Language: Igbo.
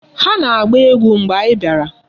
Ha na-agba egwu mgbe anyị bịara.